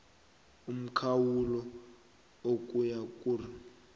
umkhawulo ukuya kur